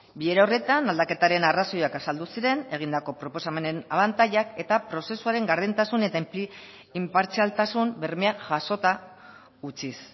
bilera horretan aldaketaren arrazoiak azaldu ziren egindako proposamenen abantailak eta prozesuaren gardentasun eta inpartzialtasun bermeak jasota utziz